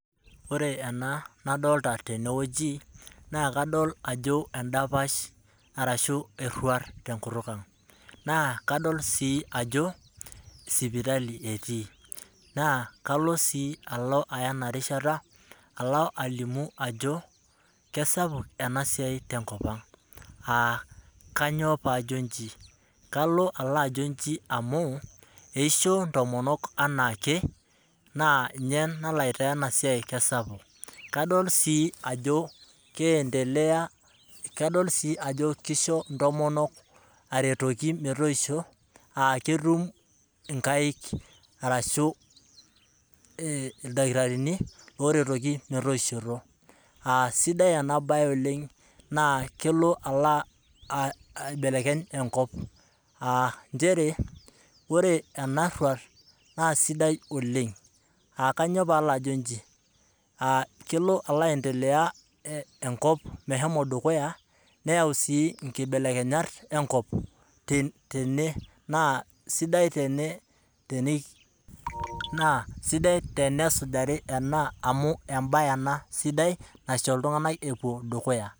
Ore etoki nalio tene naa eruat esipitali na kesapuk te nkop ang. Amu ninye oshi eiki ntomonok teneisho na keiragie si iltamoyiak tenelo nepuo sipitali neirag. Etoki ena emaana ooleng na kesapu te nkop natii.